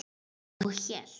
Yppti öxlum.